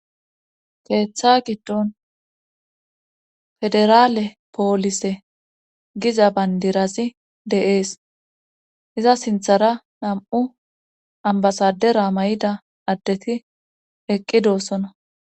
keeththa giddon federaale poolise giza bayndirazi de'ees iza sinthara nam7u ambasadera may7ida addeti eqqi doossona